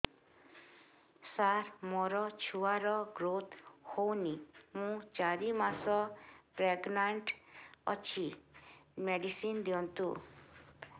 ସାର ମୋର ଛୁଆ ର ଗ୍ରୋଥ ହଉନି ମୁ ଚାରି ମାସ ପ୍ରେଗନାଂଟ ଅଛି ମେଡିସିନ ଦିଅନ୍ତୁ